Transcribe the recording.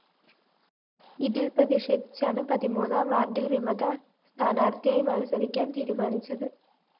ഇതില്‍ പ്രതിഷേധിച്ചാണ് പതിമൂന്നാം വാര്‍ഡില്‍ വിമത സ്ഥാനാര്‍ത്ഥിയായി മത്സരിക്കാന്‍ തീരുമാനിച്ചത്